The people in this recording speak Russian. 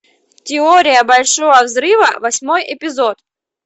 теория большого взрыва восьмой эпизод